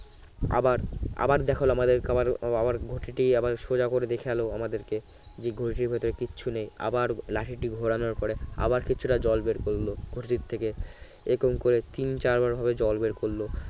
আবার আবার দেখালো আমাদেরকে আবার আবার ঘটিটি আবার সোজা করে দেখালো আমাদেরকে যে ঘটির ভেতরে কিছু নেই আবার লাঠিটি ঘোরানোর পরে আবার কিছুটা জল বের করলো ঘটির থেকে এরকম করে তিন চারবার ভাবে জল বের করল